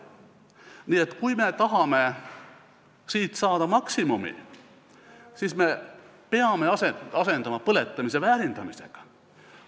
Nii et kui me tahame siit saada maksimumi, siis me peame asendama põletamise väärindamisega.